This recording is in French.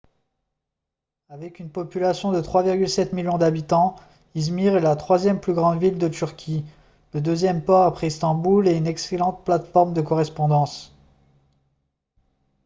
avec une population de 3,7 millions d'habitants izmir est la troisième plus grande ville de turquie le deuxième port après istanbul et une excellente plateforme de correspondance